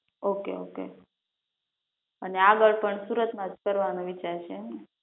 okay okay અને આગળ પણ સુરત માંજ કરવાનો વિચાર છે એમને